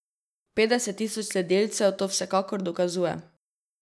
Petdeset tisoč sledilcev to vsekakor dokazuje.